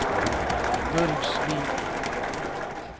Burgsvik